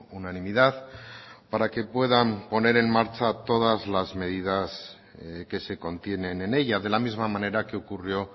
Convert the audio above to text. unanimidad para que puedan poner en marcha todas las medidas que se contienen en ella de la misma manera que ocurrió